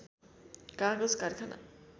कागज कारखाना